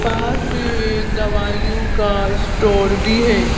पास में एक दवाइयों का स्टोर भी है।